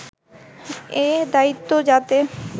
এ দায়িত্ব যাতে